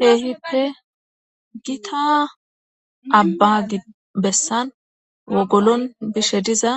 Keehippe gita abba gi bessan wogolon bishe diza